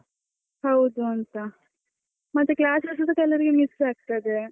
ಹೌದುಂತಾ, ಮತ್ತೆ classes ಕೆಲವರಿಗೆ miss ಆಗ್ತದೆ.